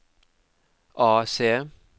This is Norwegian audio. AC